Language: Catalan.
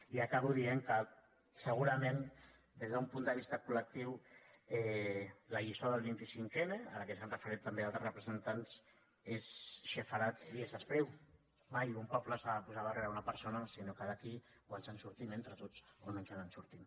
i acabo dient que segurament des d’un punt de vista col·lectiu la lliçó del vint cinc n a la qual s’han referit també altres representants és sepharad i és espriu mai un poble s’ha de posar darrere una persona sinó que d’aquí o ens en sortim entre tots o no ens en sortim